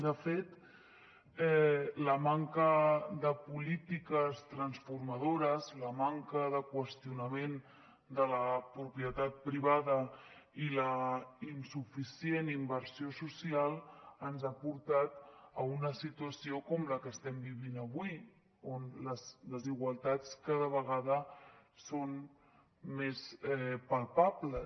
de fet la manca de polítiques transformadores la manca de qüestionament de la propietat privada i la insuficient inversió social ens ha portat a una situació com la que estem vivint avui on les desigualtats cada vegada són més palpables